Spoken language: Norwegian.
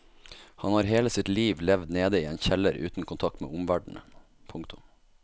Han har hele sitt liv levd nede i en kjeller uten kontakt med omverdenen. punktum